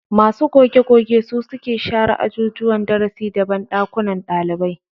Masu goge-goge su suke share ajujuwan darasi da banɗakunan ɗalibai.